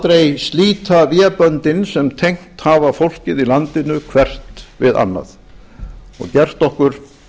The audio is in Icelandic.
aldrei slíta véböndin sem tengt hafa fólkið í landinu hvert við annað og gert okkur